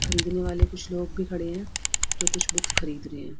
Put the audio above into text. खरीदने वाले कुछ लोग भी खड़े हैं जो कुछ बुक्स खरीद रहे हैं।